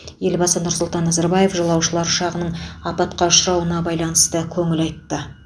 елбасы нұр сұлтан назарбаев жолаушылар ұшағының апатқа ұшырауына байланысты көңіл айтты